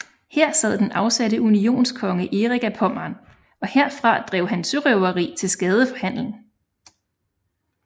Her sad den afsatte unionskonge Erik af Pommern og herfra drev han sørøveri til skade for handelen